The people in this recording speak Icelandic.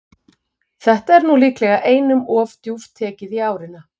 Þetta er nú líklega einum of djúpt tekið í árina.